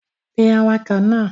Pe awakọ̀ náà!